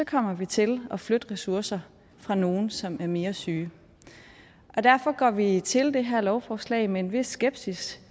kommer vi til at flytte ressourcer fra nogle som er mere syge og derfor går vi til det her lovforslag med en vis skepsis